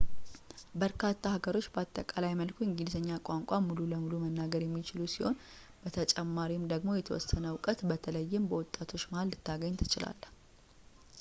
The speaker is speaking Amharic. በርካታ ሀገሮች በአጠቃላይ መልኩ እንግሊዘኛ ቋንቋን ሙሉ በሙሉ መናገር የሚችሉ ሲሆን በተጨማሪም ደግሞ የተወሰነ እውቀት በተለይም በወጣቶች መሀል ልታገኝ ትችላለህ